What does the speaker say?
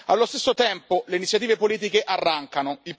Allo stesso tempo, le iniziative politiche arrancano.